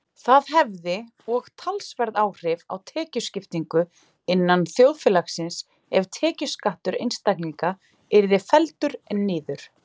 Það hefði og talsverð áhrif á tekjuskiptingu innan þjóðfélagsins ef tekjuskattur einstaklinga yrði felldur niður.